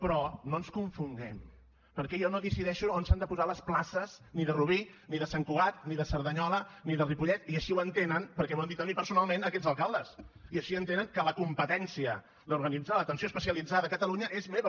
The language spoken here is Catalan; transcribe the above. però no ens confonguem perquè jo no decideixo on s’han de posar les places ni de rubí ni de sant cugat ni de cerdanyola ni de ripollet i així ho entenen perquè m’ho han dit a mi personalment aquests alcaldes i així entenen que la competència d’organitzar l’atenció especialitzada a catalunya és meva